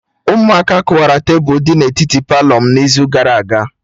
Ụmụaka kụwara tebụl dị na etiti Palọ m n'izu gara aga